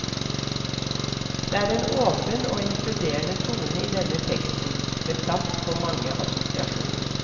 Det er en åpen og inkluderende tone i denne teksten, med plass for mange assosiasjoner.